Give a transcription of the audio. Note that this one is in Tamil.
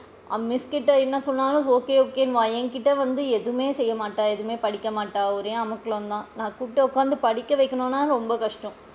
Miss கிட்ட என்ன சொன்னாலும் okay okay ன்னுவா என்கிட்ட வந்து எதுமே செய்ய மாட்டா, எதுமே படிக்க மாட்டா ஒரே அமக்கலம் தான் நான் கூப்ட்டு உட்காந்து படிக்கவைக்கனும்ன்னா ரொம்ப கஷ்டம்.